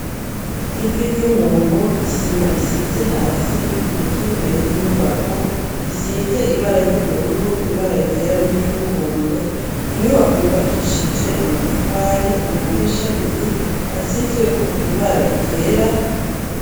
Ivi ry'umuntu ,isima isize hasi ,igiti kiri imbere y'inyubako, gisize ibara ry'ubururu, ibara ryera, n'iry'umuhondo ,inyubako yubakishije amatafari ,amadirisha abiri asizwe ko ibara ryera.